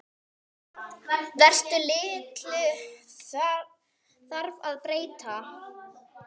Hversu litlu þarf að breyta?